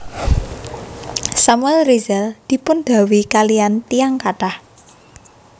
Samuel Rizal dipun dhawuhi kaliyan tiyang kathah